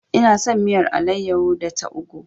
Ina son miyar alayyahu da ta ugwu.